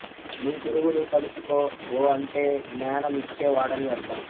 నీ గురువుని తలుచుకో ఓఅంటే జ్ఞాన మిచ్చే వాడని అర్థం